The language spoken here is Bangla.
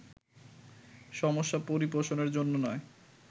সমস্যা পরিপোষণের জন্য নয়